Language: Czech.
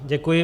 Děkuji.